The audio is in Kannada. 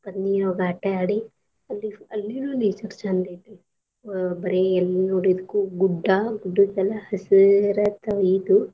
ಬರೀ ನೀರ್ಒಳ್ಗ ಆಟ ಆಡಿ ಅಲ್ಲಿ ಅಲ್ಲಿನೂ nature ಚಂದ್ ಐತಿ ಬರೆ ಎಲ್ಲಿ ನೋಡಿದ್ರು ಗುಡ್ಡಾಗುಡ್ದದ್ಮೇಲೆ ಹಸಿರಾತ್ ಇದು.